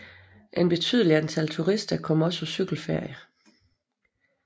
Et betydelig antal turister kommer også på cykelferie